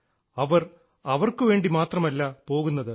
അവർ അവർക്കുവേണ്ടി മാത്രമല്ല പോകുന്നത്